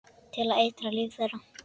Til að eitra líf þeirra.